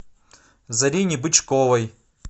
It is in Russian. зарине бычковой